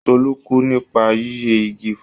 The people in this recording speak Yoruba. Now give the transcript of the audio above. Tolú kú nípa yíyẹ igi fún.